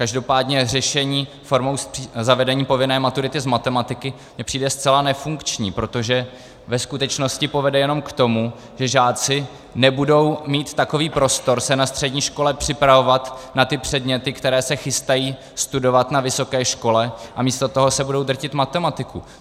Každopádně řešení formou zavedení povinné maturity z matematiky mi přijde zcela nefunkční, protože ve skutečnosti povede jenom k tomu, že žáci nebudou mít takový prostor se na střední škole připravovat na ty předměty, které se chystají studovat na vysoké škole, a místo toho se budou drtit matematiku.